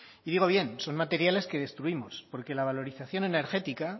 y digo bien son materiales que destruimos porque la valorización energética